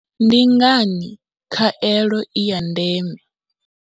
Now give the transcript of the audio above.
Ndi ngani khaelo i ya ndeme?